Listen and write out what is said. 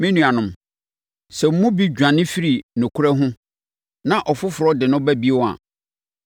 Me nuanom, sɛ mo mu bi dwane firi nokorɛ ho na ɔfoforɔ de no ba bio a,